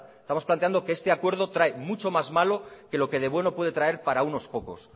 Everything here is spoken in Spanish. estamos planteando que este acuerdo trae mucho más malo que lo que de bueno puede traer para unos pocos